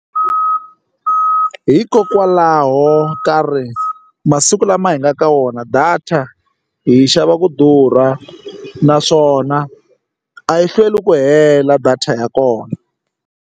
Hikokwalaho ka masiku lama hi nga ka wona data hi xava ku durha naswona a yi hlweli ku hela data ya kona.